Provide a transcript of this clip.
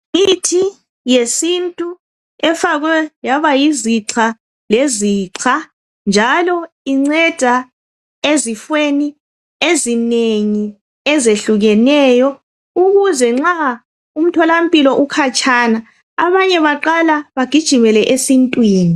Imithi yesintu efakwe yaba yizixha lezixha., njalo inceda ezifweni ezinengi ezehlukeneyo. Ukuze nxa umtholampilo ukhatshana. Abanye baqala bagijimele esintwini.